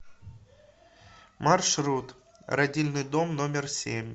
маршрут родильный дом номер семь